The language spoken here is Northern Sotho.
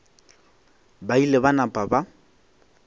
ba ile ba napa ba